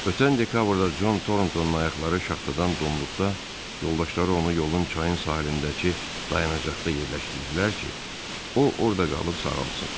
Ötən dekabrda Con Torontounun ayaqları şaxtadan donduqda yoldaşları onu yolun çayın sahilindəki dayanacaqda yerləşdirdilər ki, o orda qalıb sağalsın.